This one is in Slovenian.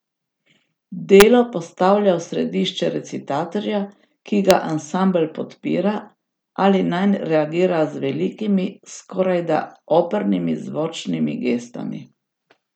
Delo postavlja v središče recitatorja, ki ga ansambel podpira ali nanj reagira z velikimi, skorajda opernimi zvočnimi gestami.